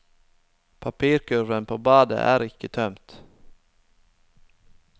Papirkurven på badet er ikke tømt.